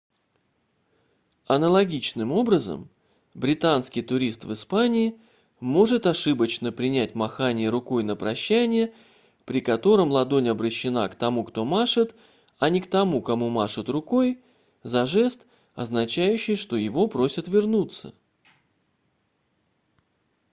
аналогичным образом британский турист в испании может ошибочно принять махание рукой на прощание при котором ладонь обращена к тому кто машет а не к тому кому машут рукой за жест означающий что его просят вернуться